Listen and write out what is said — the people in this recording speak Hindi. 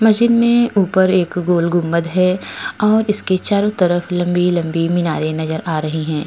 मशीन में ऊपर एक गोल गुबंद है और इसके चारों तरफ लंबी-लंबी मीनारे नजर आ रही हैं।